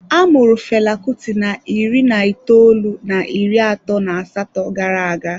A mụrụ Fela Kuti na iri na itoolu na iri atọ na asatọ gara-aga.